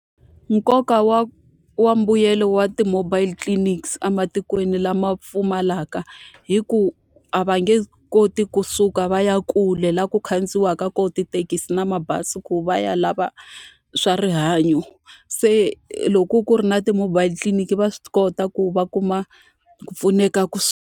Nkoka wa wa mbuyelo wa ti-mobile clinics ematikweni lama pfumalaka i ku a va nge koti kusuka va ya kule laha ku khandziyiwaka kona tithekisi na mabazi ku va ya lava swa rihanyo. Se loko ku ri na ti-mobile tliliniki va swi kota ku va kuma ku pfuneka .